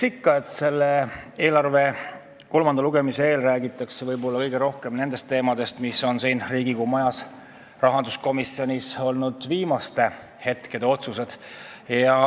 Riigieelarve seaduse kolmanda lugemise eel räägitakse kõige rohkem ikka nendest teemadest, mis on Riigikogu rahanduskomisjonis olnud viimaste hetkede otsused.